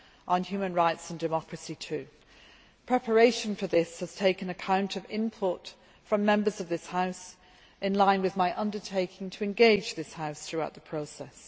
on human rights and democracy too. Preparation for this has taken account of input from Members of this House in line with my undertaking to engage this House throughout the process.